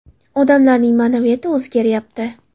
Odamlarning ma’naviyati o‘zgaryapti.